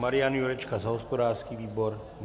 Marian Jurečka za hospodářský výbor?